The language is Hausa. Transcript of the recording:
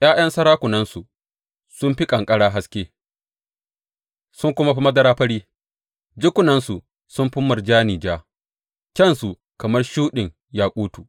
’Ya’yan sarakunansu sun fi ƙanƙara haske sun kuma fi madara fari, jikunansu sun fi murjani ja, kyansu kamar shuɗin yakutu.